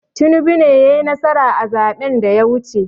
Tinibu ne yai nasara a zaɓen da ya wuce